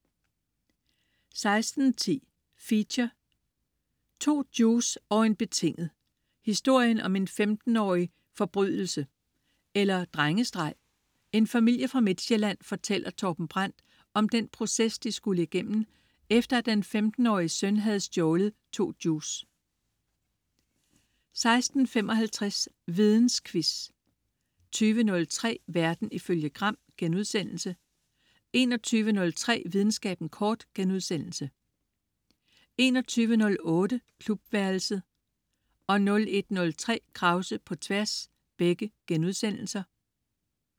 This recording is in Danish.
16.10 Feature: 2 Juice og en betinget. Historien om en 15-årigs forbrydelse. Eller drengestreg? En familie fra Midtsjælland fortæller Torben Brandt om den proces de skulle igennem, efter at den 15-årige søn havde stjålet to juice 16.55 Vidensquiz 20.03 Verden ifølge Gram* 21.03 Videnskaben kort* 21.08 Klubværelset* 01.03 Krause på Tværs*